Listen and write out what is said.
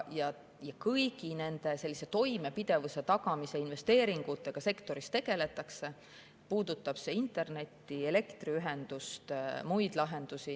Kõigi nende toimepidevuse tagamise investeeringutega sektoris tegeldakse, puudutab see siis internetti, elektriühendust või muid lahendusi.